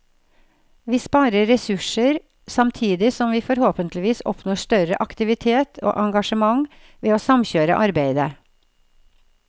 Vi sparer ressurser, samtidig som vi forhåpentligvis oppnår større aktivitet og engasjement ved å samkjøre arbeidet.